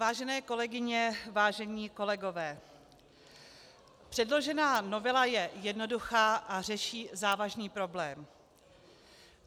Vážené kolegyně, vážení kolegové, předložená novela je jednoduchá a řeší závažný problém.